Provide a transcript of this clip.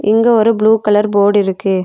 இங்க ஒரு blue colour board இருக்கு.